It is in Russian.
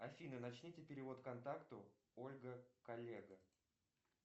афина начните перевод контакту ольга коллега